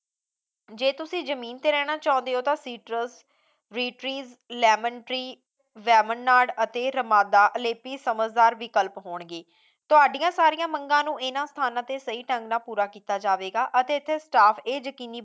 ਜੇ ਤੁਸੀਂ ਜਮੀਨ ਤੇ ਰਹਿਣਾ ਚਾਹੁੰਦੇ ਹੋ ਤਾਂ citrus, green trees, lemon tree, ਜ਼ੇਮੋਨ ਨਾਰਡ ਅਤੇ ਰਮਾਦਾ ਅਲੇਪੀ ਸਮਝਦਾਰ ਵਿਕਲਪ ਹੋਣਗੇ ਤੁਹਾਡੀਆਂ ਸਾਰੀਆਂ ਮੰਗਾਂ ਨੂੰ ਇਨ੍ਹਾਂ ਥਾਵਾਂ ਤੇ ਸਹੀ ਢੰਗ ਨਾਲ ਪੂਰਾ ਕੀਤਾ ਜਾਵੇਗਾ ਅਤੇ ਇੱਥੇ staff ਇਹ ਯਕੀਨੀ